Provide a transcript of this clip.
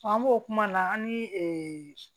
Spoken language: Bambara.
an b'o kuma na an ni